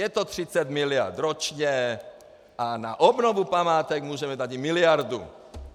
Je to 30 miliard ročně a na obnovu památek můžeme dát i miliardu.